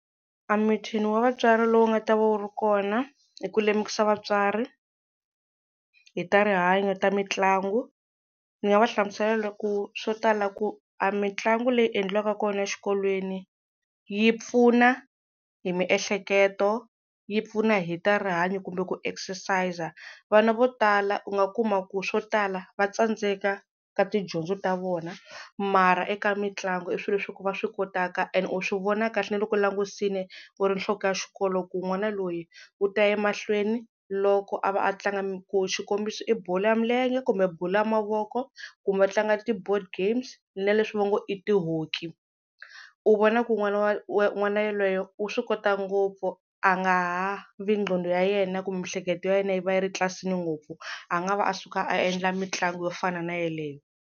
A meeting wa vatswari lowu nga ta va wu ri kona i ku lemukisa vatswari hi ta rihanyo ta mitlangu. Ni nga va hlamusela ku swo tala ku a mitlangu leyi endliwaka kona exikolweni yi pfuna hi miehleketo, yi pfuna hi ta rihanyo kumbe ku exercise. Vana vo tala u nga kuma ku swo tala va tsandzeka ka tidyondzo ta vona, mara eka mitlangu i swilo leswi ku va swi kotaka. Ene u swi vona kahle na loko u langutisile u ri nhloko ya xikolo ku n'wana loyi u ta ya emahlweni loko a va a tlanga, xikombiso i bolo ya milenge kumbe bolo ya mavoko, kumbe va tlanga ti-board games na leswi va ngo i ti-hockey. U vona ku n'wana wa yelweyo u swi kota ngopfu a nga ha vi nqondo ya yena kumbe miehleketo ya yena yi va yi ri tlilasini ngopfu a nga va a suka a endla mitlangu yo fana na yaleyo.